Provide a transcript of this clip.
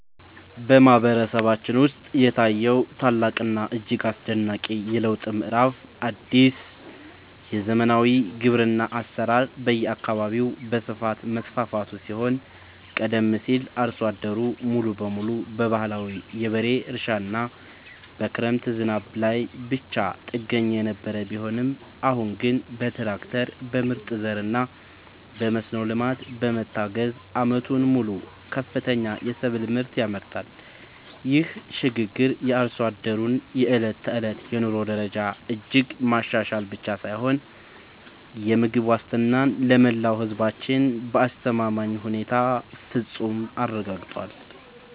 በማህበረሰባችን ውስጥ የታየው ታላቅና እጅግ አስደናቂ የለውጥ ምዕራፍ አዲስ የዘመናዊ ግብርና አሰራር በየአካባቢው በስፋት መስፋፋቱ ሲሆን ቀደም ሲል አርሶ አደሩ ሙሉ በሙሉ በባህላዊ የበሬ እርሻና በክረምት ዝናብ ላይ ብቻ ጥገኛ የነበረ ቢሆንም አሁን ግን በትራክተር፣ በምርጥ ዘርና በመስኖ ልማት በመታገዝ ዓመቱን ሙሉ ከፍተኛ የሰብል ምርት ያመርታል። ይህ ሽግግር የአርሶ አደሩን የዕለት ተዕለት የኑሮ ደረጃ እጅግ ማሻሻል ብቻ ሳይሆን የምግብ ዋስትናን ለመላው ህዝባችን በአስተማማኝ ሁኔታ በፍፁም አረጋግጧል።